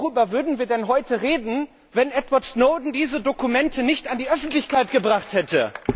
Ja worüber würden wir denn heute reden, wenn Edward Snowden diese Dokumente nicht an die Öffentlichkeit gebracht hätte?